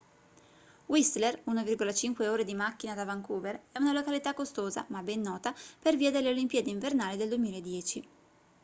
whistler 1,5 ore di macchina da vancouver è una località costosa ma ben nota per via delle olimpiadi invernali del 2010